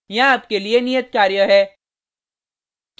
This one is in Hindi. यहाँ आपके लिए नियत कार्य है